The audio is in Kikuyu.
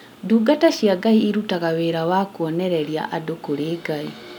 Ndungata cia Ngai irutaga wĩra wa kuonereria andũ kũrĩ Ngai